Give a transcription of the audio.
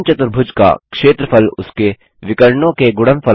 समचतुर्भुज का क्षेत्रफल उसके विकर्णों के गुणनफल का आधा होता है